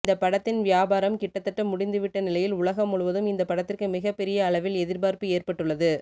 இந்த படத்தின் வியாபாரம் கிட்டத்தட்ட முடிந்துவிட்ட நிலையில் உலகம் முழுவதும் இந்த படத்திற்கு மிகப்பெரிய அளவில் எதிர்பார்ப்பு ஏற்பட்டுள்ளது